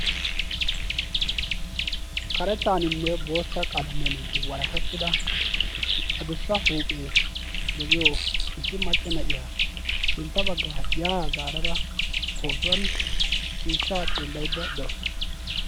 Karettaninne bootta qalammiyan walakkettida adussa huuphphee de'iyoo issi macca na'yaa sintta bagga ya zaaradda pootuwaan ciishsha xeelaydda dawussu.